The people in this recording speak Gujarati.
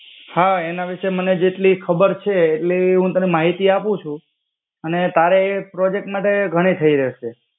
હ એના વિષે મને જેટલી ખબર છે, એટલી હું તને માહિતી આપું છું અને તારે એ પ્રોજેક્ટ માટે ઘણી થઇ રહેશે.